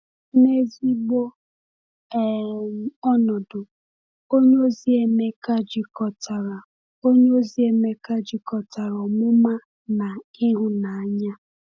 N’ezigbo um ọnọdụ, onyeozi Emeka jikọtara onyeozi Emeka jikọtara ọmụma na ịhụnanya.